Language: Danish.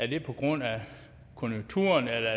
det er på grund af konjunkturerne eller